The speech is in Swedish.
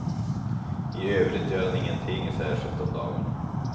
I övrigt gör han ingenting särskilt om dagarna.